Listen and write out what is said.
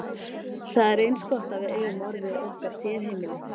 Það er eins gott að við eigum orðið okkar sérheimili.